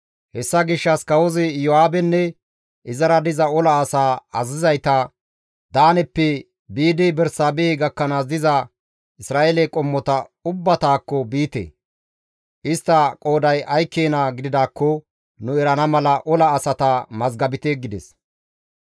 Hessa gishshas kawozi Iyo7aabenne izara diza ola asaa azazizayta, «Daaneppe biidi Bersaabehe gakkanaas diza Isra7eele qommota ubbatakko biite; istta qooday ay keena gididaakko nu erana mala ola asata mazgabite» gides.